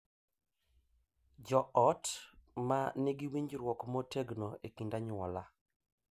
Jo ot ma nigi winjruok motegno e kind anyuola